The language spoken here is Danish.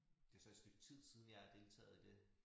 Det så et stykke tid siden jeg har deltaget i det